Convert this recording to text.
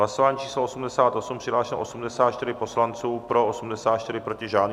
Hlasování číslo 88, přihlášeno 84 poslanců, pro 84, proti žádný.